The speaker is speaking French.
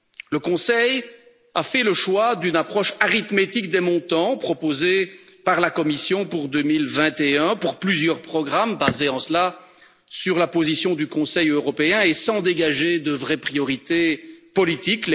Le Conseil a fait le choix d'une approche arithmétique des montants proposés par la Commission pour 2021 pour plusieurs programmes, se fondant en cela sur la position du Conseil européen et sans dégager de vraies priorités politiques.